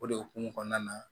O de hukumu kɔnɔna na